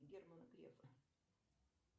герман греф